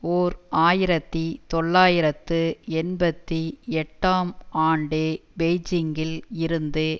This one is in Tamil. ஓர் ஆயிரத்தி தொள்ளாயிரத்து எண்பத்தி எட்டாம் ஆண்டு பெய்ஜிங்கில் இருந்து